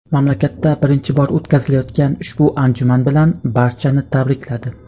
mamlakatda birinchi bor o‘tkazilayotgan ushbu anjuman bilan barchani tabrikladi.